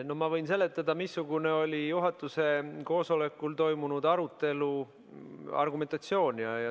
No ma võin seletada, missugune oli juhatuse koosolekul toimunud arutelu argumentatsioon.